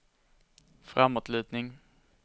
framåtlutning